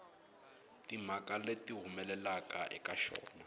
timhaka leti humelelaka eka xona